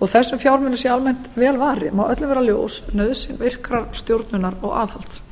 þótt þessum fjármunum sé almennt vel varið má öllum vera ljós nauðsyn virkrar stjórnunar og aðhalds